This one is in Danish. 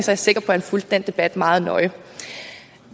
jeg sikker på at han fulgte den debat meget nøje